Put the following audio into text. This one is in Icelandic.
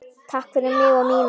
Takk fyrir mig og mína.